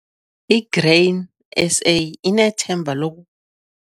I-Grain SA inethemba loku